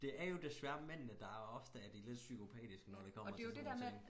Det er jo desværre mændene der er ofte er de lidt psykopatiske når det kommer til sådan nogle ting